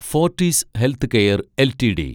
Fortis healthcare LTD